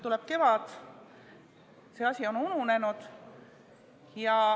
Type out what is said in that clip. Tuleb kevad, see asi on ununenud.